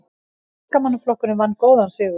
Verkamannaflokkurinn vann góðan sigur